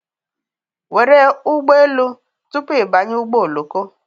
Were ụgbọ elu tupu ị banye ụgbọ oloko